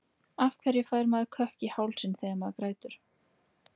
Af hverju fær maður kökk í hálsinn þegar maður grætur?